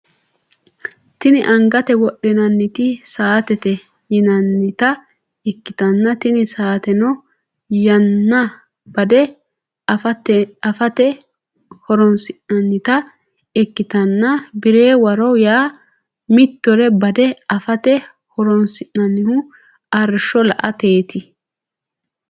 Tini anigate wodhinanniti satete yinanita ikitana tini sateno yana bade afatte horonisinanita ikitana birre warro yana meetero badde afatte horonisinanihu arishsho la’ateniti.